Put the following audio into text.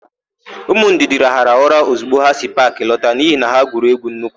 Ụmụ Ndidi rahara ụra ọzigbo ha si paakị lọta n'ihi na ha gwuru égwú nnukwu.